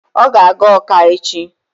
Ọ ga-aga Ọka echi.